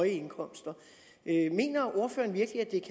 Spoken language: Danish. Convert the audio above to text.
indkomster mener ordføreren virkelig at det